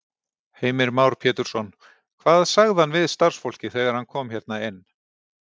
Heimir Már Pétursson: Hvað sagði hann við starfsfólkið þegar hann kom hérna inn?